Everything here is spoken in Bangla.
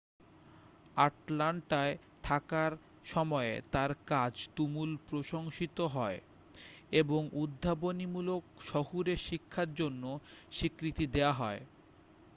আটলান্টায় থাকার সময়ে তাঁর কাজ তুমুল প্রশংসিত হয় এবং উদ্ভাবনীমূলক শহুরে শিক্ষার জন্য স্বীকৃতি দেওয়া হয়